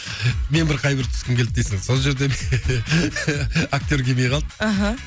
мен бір қай бір түскім келді дейсің сол жерде актер келмей қалды аха